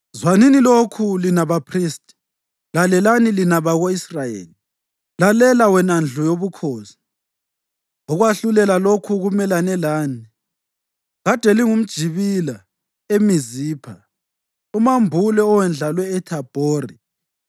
“Zwanini lokhu, lina baphristi! Lalelani, lina bako-Israyeli. Lalela, wena ndlu yobukhosi! Ukwahlulela lokhu kumelane lani: Kade lingumjibila eMizipha, umambule owendlalwe eThabhori.